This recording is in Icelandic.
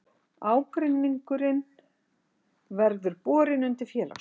Ágreiningurinn verði borin undir félagsdóm